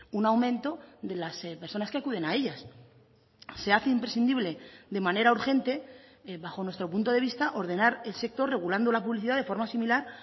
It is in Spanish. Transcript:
un aumento de las personas que acuden a ellas se hace imprescindible de manera urgente bajo nuestro punto de vista ordenar el sector regulando la publicidad de forma similar